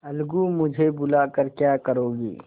अलगूमुझे बुला कर क्या करोगी